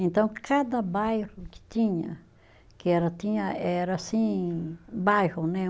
Então, cada bairro que tinha, que era tinha, era assim, bairro, né?